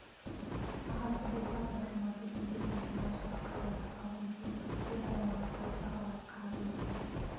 ағасы болса да жұман төрге кеп отырғанша қадалған салқын көзін одан алмастан жағалай қарап өтті